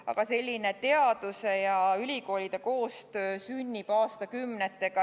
Aga selline teaduse ja ülikoolide koostöö sünnib aastakümnetega.